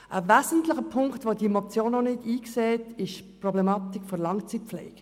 Ein wesentlicher Punkt, den diese Motion nicht berücksichtigt, ist die Langzeitpflege.